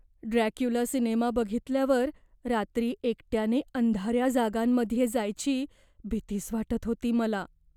Dracula cinema बघितल्यावर रात्री एकट्याने अंधाऱ्या जागांमध्ये जायची भीतीच वाटत होती मला.